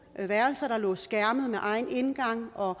værelser der lå skærmet med egen indgang og